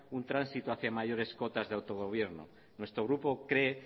un transito hacía mayores cotas de autogobierno nuestro grupo cree